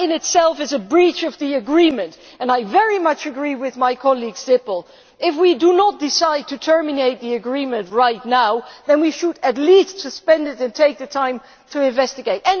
That in itself is a breach of the agreement and I very much agree with my colleague Ms Sippel if we do not decide to terminate the agreement right now, then we should at least suspend it and take the time to investigate.